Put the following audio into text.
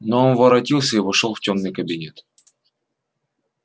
но он воротился и вошёл в тёмный кабинет